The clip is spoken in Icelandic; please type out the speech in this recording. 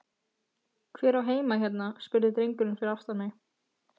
Hver á heima hérna? spurði drengurinn fyrir aftan mig?